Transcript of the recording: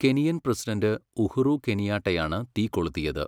Kenyan president Uhuru കെനിയാട്ടയാണ് തീ കൊളുത്തിയത്.